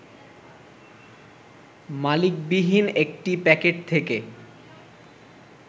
মালিকবিহীন একটি প্যাকেট থেকে